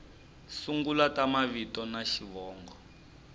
sungula ta mavito na xivongo